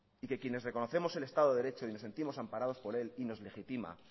y que quienes reconocemos el estado de derecho y nos sentimos amparados por él y nos legitima